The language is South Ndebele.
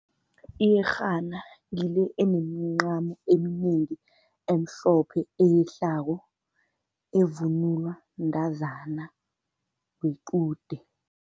Iyerhana ngile enemncamo eminengi emhlophe eyehlako, evunulwa mntazana wequde.